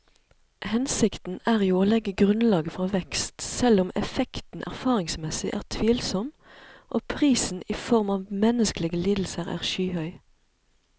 Hensikten er jo å legge grunnlaget for vekst, selv om effekten erfaringsmessig er tvilsom og prisen i form av menneskelige lidelser er skyhøy.